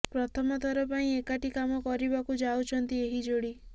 ପ୍ରଥମ ଥର ପାଇଁ ଏକାଠି କାମ କରିବାକୁ ଯାଉଛନ୍ତି ଏହି ଯୋଡି